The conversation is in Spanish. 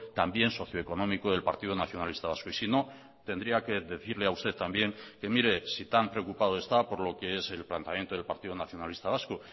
también socioeconómico del partido nacionalista vasco y si no tendría que decirle a usted también que mire si tan preocupado está por lo que es el planteamiento del partido nacionalista vasco